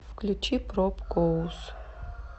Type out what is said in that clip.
включи пробкоус